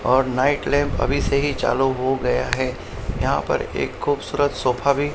और night lamp अभी से ही चालू हो गया है यहां पर एक खूबसूरत सोफा भी--